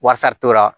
Wasa t'o la